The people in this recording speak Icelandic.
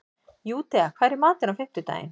Júdea, hvað er í matinn á fimmtudaginn?